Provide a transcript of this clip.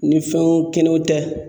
Ni fɛnw kɛnɛw tɛ.